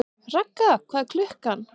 Ragga, hvað er klukkan?